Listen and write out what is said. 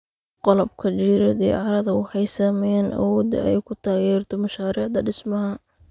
Qalabka jireed ee carrada waxay saameeyaan awoodda ay ku taageerto mashaariicda dhismaha.